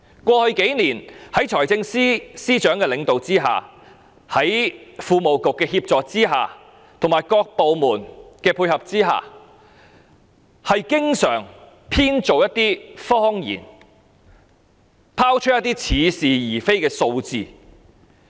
過去數年，在財經事務及庫務局的協助和各部門的配合下，財政司司長經常編造一些謊言，拋出一些似是而非的數字。